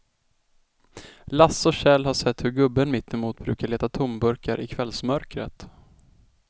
Lasse och Kjell har sett hur gubben mittemot brukar leta tomburkar i kvällsmörkret.